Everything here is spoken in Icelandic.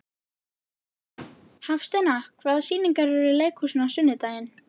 Hafsteina, hvaða sýningar eru í leikhúsinu á sunnudaginn?